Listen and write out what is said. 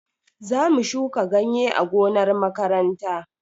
Zamu shuka ganye a gonar makaranta.